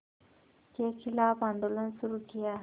के ख़िलाफ़ आंदोलन शुरू किया